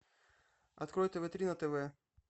открой тв три на тв